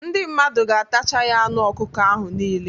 Ndị mmadụ ga-atacha ya anụ ọkụkọ ahụ nile